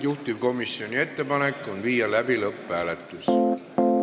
Juhtivkomisjoni ettepanek on viia läbi lõpphääletus.